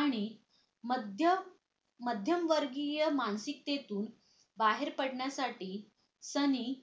आणि मध्य मध्यम वर्गीय मानसिकतेतून बाहेर पडण्यासाठी सलीम